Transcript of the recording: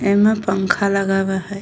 ऐमे पंखा लगावा हय।